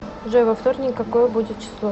джой во вторник какое будет число